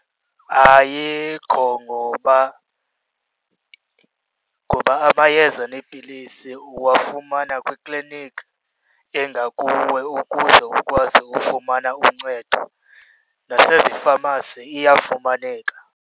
Ayikho ngoba, ngoba amayeza neepilisi uwafumana kwiikliniki engakuwe ukuze ukwazi ufumana uncedo, nasezifamasi iyafumaneka.